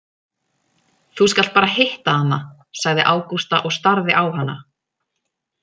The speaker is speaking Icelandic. Þú skalt bara hitta hana, sagði Ágústa og starði á hana.